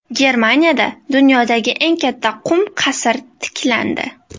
Germaniyada dunyodagi eng katta qum qasr tiklandi.